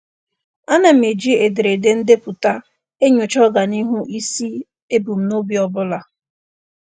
A na m eji ederede ndepụta enyocha ọganihu isi ebumnobi ọbụla.